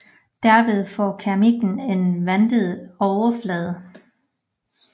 Derved får keramikken en vandtæt overflade